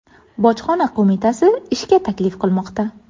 Bojxona qo‘mitasi ishga taklif qilmoqda.